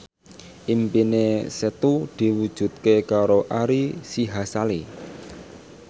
impine Setu diwujudke karo Ari Sihasale